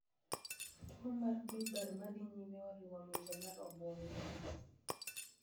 Tuwo mar bulbar ma dhi nyime oriwo ng’injo mar obwongo.